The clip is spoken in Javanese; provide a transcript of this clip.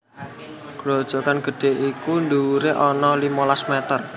Grojogan gedhé iku dhuwuré ana limolas mèter